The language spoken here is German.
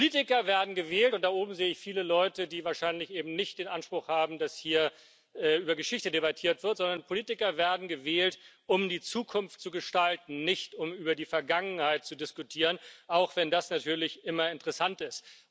Politiker werden gewählt und da oben sehe ich viele Leute, die wahrscheinlich eben nicht den Anspruch haben, dass hier über Geschichte debattiert wird Politiker werden gewählt, um die Zukunft zu gestalten, nicht um über die Vergangenheit zu diskutieren, auch wenn das natürlich immer interessant ist.